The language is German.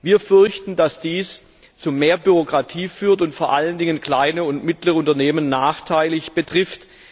Wir fürchten, dass dies zu mehr Bürokratie führt und vor allen Dingen kleine und mittlere Unternehmen nachteilig betrifft.